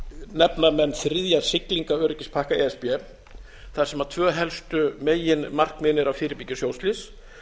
nefna menn þriðja siglingaöryggispakka e s b þar sem tvö helstu meginmarkmiðin eru að fyrirbyggja sjóslys